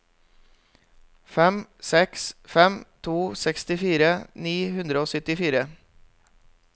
fem seks fem to sekstifire ni hundre og syttifire